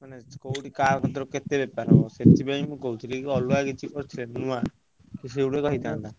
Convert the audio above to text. ମାନେ କୋଉଠି କାହାର କେତେ ବେପାର ସେଠୀ ପାଇଁ ।